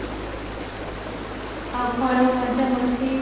ଆଉ କଣ ମଜା ମସ୍ତି